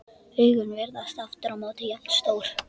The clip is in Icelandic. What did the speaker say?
Augun virðast aftur á móti jafn stór.